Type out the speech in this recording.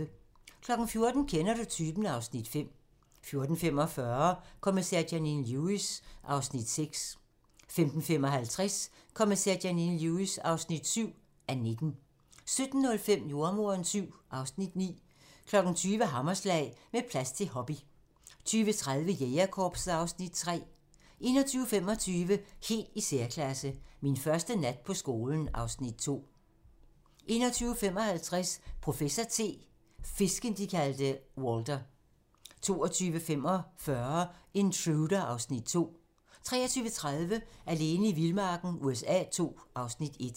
14:00: Kender du typen? (Afs. 5) 14:45: Kommissær Janine Lewis (6:19) 15:55: Kommissær Janine Lewis (7:19) 17:05: Jordemoderen VII (Afs. 9) 20:00: Hammerslag - Med plads til hobby 20:30: Jægerkorpset (Afs. 3) 21:25: Helt i særklasse - Min første nat på skolen (Afs. 2) 21:55: Professor T: Fisken, de kaldte Walter 22:45: Intruder (Afs. 2) 23:30: Alene i vildmarken USA II (Afs. 1)